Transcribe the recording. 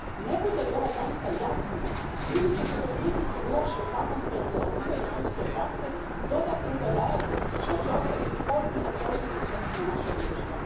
Ne bude li ova granica jasna ljudi će se pod pritiskom loše zakonske regulative i sudske prakse dodatno udaljavati što će ostaviti ozbiljne posljedice na naša društva.